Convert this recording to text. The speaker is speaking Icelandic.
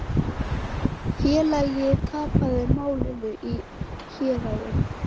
Félagið tapaði málinu í héraði.